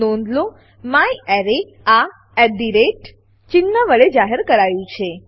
નોંધ લો મ્યારે આ એટ ધ રેટ ચિન્હ વડે જાહેર કરાયું છે